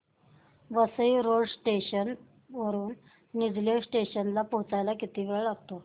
Vasai road station वरून Nilje station ला पोहचायला किती वेळ लागतो